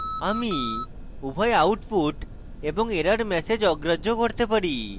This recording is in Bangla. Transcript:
আমি উভয় output এবং error ম্যাসেজ অগ্রাহ্য করতে চাই